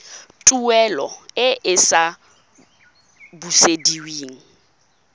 tuelo e e sa busediweng